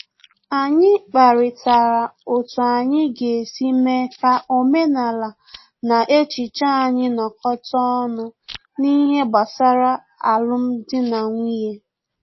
Anyị kparịtara otu anyị ga-esi mee ka omenala na echiche anyị nọ́kọta ọnụ n'ihe gbasara alum dị na nwunye